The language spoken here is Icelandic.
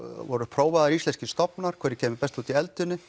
voru prófaðir íslenskir stofnar hver kæmi best út í eldinu